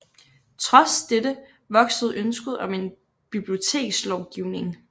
Trods dette voksede ønsket om en bibliotekslovgivning